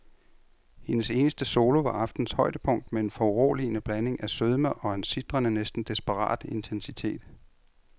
Hendes eneste solo var aftenens højdepunkt med en foruroligende blanding af sødme og en sitrende, næsten desperat intensitet.